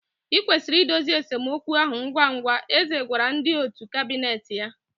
I kwesịrị idozi esemokwu ahụ ngwa ngwa, eze gwara ndị òtù kabinet ya